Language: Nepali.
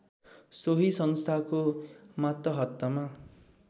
सोही संस्थाको मातहतमा